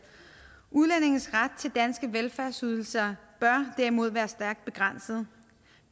udlændinges ret til danske velfærdsydelser bør derimod være stærkt begrænsede